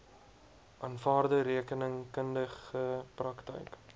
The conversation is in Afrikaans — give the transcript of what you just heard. aanvaarde rekeningkundige praktyk